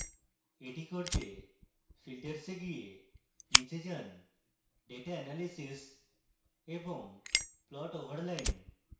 এটি করতে filters এ গিয়ে নীচে যান> data analysis > plot over line